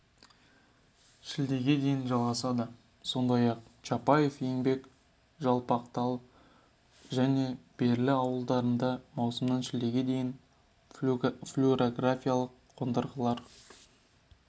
шілдеге дейін жалғасады сондай-ақ чапаев еңбек жалпақтал және бөрлі ауылдарында маусымнан шілдеге дейін флюорографикалық қондырғылар